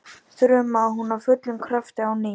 þrumaði hún af fullum krafti á ný.